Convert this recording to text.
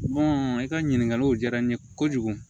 i ka ɲininkaliw diyara n ye kojugu